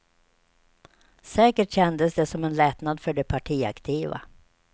Säkert kändes det som en lättnad för de partiaktiva.